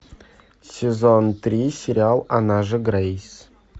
сезон три сериал она же грейс